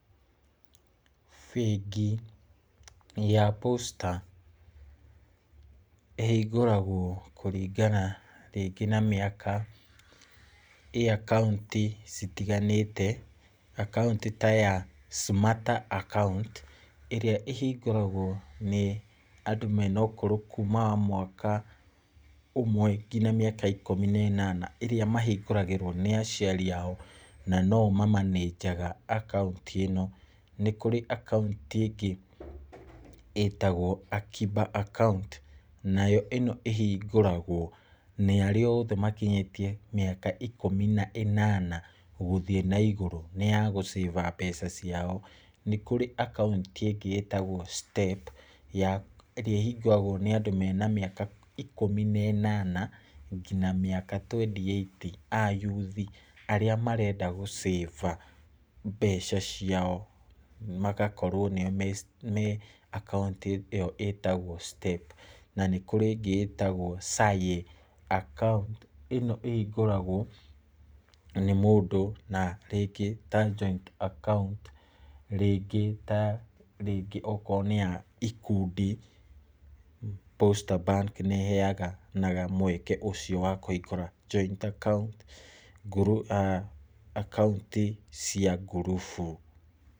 Bengi ya Posta ĩhingũragwo kũringana rĩngĩ na mĩaka,ĩ akaunti citiganĩte, akaunti ta ya Smarter akaunt, ĩrĩa ĩhingũragwo nĩ andũ mena ũkũrũ kuma wa mwaka ũmwe nginya ikũmi na ĩnana , ĩrĩa mahingũragĩrwo nĩ aciari ao, na no o mamanĩnjaga akaunti ĩno, nĩkũrĩ akaunti ĩngĩ ĩtagwo Akiba account , nayo ĩno ĩhingũragwo nĩ arĩa othe makinyĩtie mĩaka ikũmi na ĩnana gũthiĩ na igũrũ nĩ ya gũ[account mbeca ciao , nĩkũrĩ akunti ĩngĩ ĩtagwo Step, ĩrĩa ĩhingũragwo nĩ andũ mena kuma mĩaka ikũmi na ĩnana nginya mĩaka twenty eight, a yuthi arĩa marenda gũaccount mbeca ciao, magakorwo nĩ akaunti ĩyo ĩtagwo Step, na nĩ kũrĩ ĩngĩ ĩtagwo Saye, akaunti ĩno ĩhingũragwo nĩ mũndũ ta rĩngĩ ta joint account , rĩngĩ ta rĩngĩ okorwo nĩ ya ikundi, Posta Bank nĩ ĩheanaga mweke ũcio wa kũhingũra joint account , akaunti cia ngurubu.